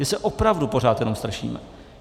My se opravdu pořád jenom strašíme.